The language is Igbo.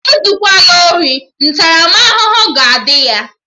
Ezukwana ori! Ntaramahụhụ ga-adị ya!